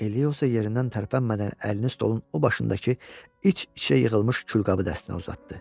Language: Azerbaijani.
Eliyosa yerindən tərpənmədən əlini stolun o başındakı iç-içə yığılmış külqabı dəstinə uzatdı.